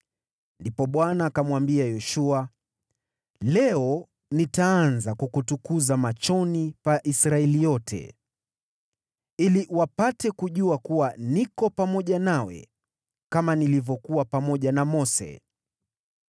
Ndipo Bwana akamwambia Yoshua, “Leo nitaanza kukutukuza machoni pa Israeli yote, ili wapate kujua kuwa niko pamoja nawe kama nilivyokuwa pamoja na Mose.